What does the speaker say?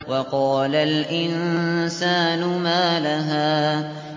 وَقَالَ الْإِنسَانُ مَا لَهَا